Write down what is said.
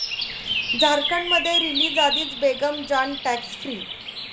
झारखंडमध्ये रिलीजआधीच 'Begum Jaan' 'tax free'